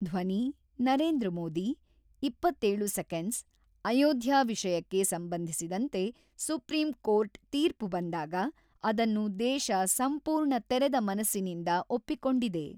ಧ್ವನಿ-ನರೇಂದ್ರ ಮೋದಿ-ಇಪ್ಪತ್ತೇಳು ಸೆಕೆಂಡ್ಸ್ ಅಯೋಧ್ಯಾ ವಿಷಯಕ್ಕೆ ಸಂಬಂಧಿಸಿದಂತೆ ಸುಪ್ರಿಂ ಕೋರ್ಟ್ ತೀರ್ಪು ಬಂದಾಗ ಅದನ್ನು ದೇಶ ಸಂಪೂರ್ಣ ತೆರೆದ ಮನಸ್ಸಿನಿಂದ ಒಪ್ಪಿಕೊಂಡಿದೆ.